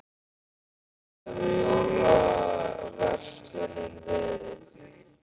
Hvernig hefur jólaverslunin verið?